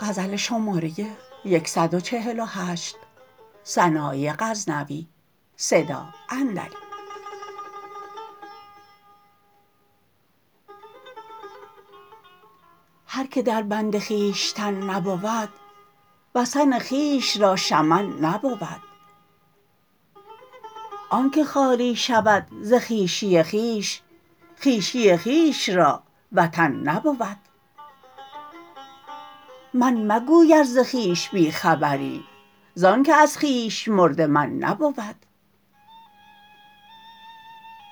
هر که در بند خویشتن نبود وثن خویش را شمن نبود آنکه خالی شود ز خویشی خویش خویشی خویش را وطن نبود من مگوی ار ز خویش بی خبری زان که از خویش مرده من نبود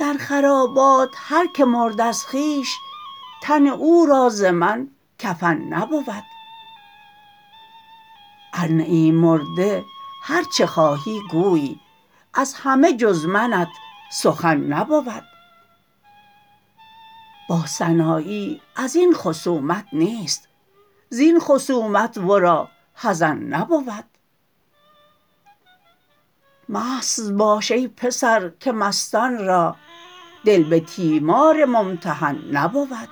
در خرابات هر که مرد از خویش تن او را ز من کفن نبود ارنه ای مرده هر چه خواهی گوی از همه جز منت سخن نبود با سنایی ازین خصومت نیست زین خصومت ورا حزن نبود مست باش ای پسر که مستان را دل به تیمار ممتحن نبود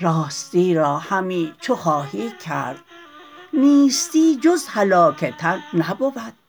راستی را همی چو خواهی کرد نیستی جز هلاک تن نبود